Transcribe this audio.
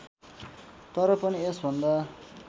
तर पनि यसभन्दा